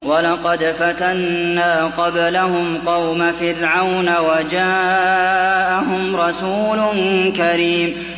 ۞ وَلَقَدْ فَتَنَّا قَبْلَهُمْ قَوْمَ فِرْعَوْنَ وَجَاءَهُمْ رَسُولٌ كَرِيمٌ